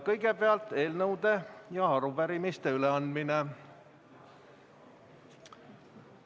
Kõigepealt on eelnõude ja arupärimiste üleandmine.